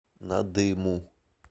надыму